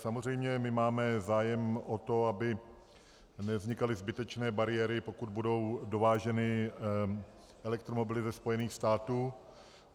Samozřejmě my máme zájem o to, aby nevznikaly zbytečné bariéry, pokud budou dováženy elektromobily ze Spojených států.